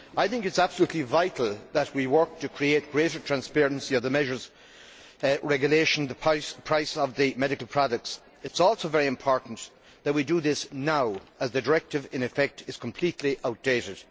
It is absolutely vital that we work to create greater transparency of the measures regulating the price of the medical products. It is also very important that we do this now, as the directive in effect is completely outdated.